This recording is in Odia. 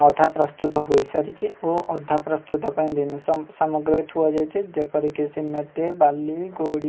ଅଧା ପ୍ରସ୍ତୁତ ହୋଇ ସାରିଚି ଓ ଅଧା ପ୍ରସ୍ତୁତ ପାଇଁ ଜିନିଷ ମ ସାମଗ୍ରୀ ଥୁଆ ଯାଇଚି ଯେପରିକି ସିମେଣ୍ଟ ବାଲି ଗୋଡ଼ି।